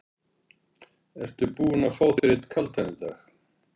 Ertu búinn að fá þér einn kaldan í dag?